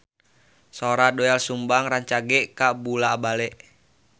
Sora Doel Sumbang rancage kabula-bale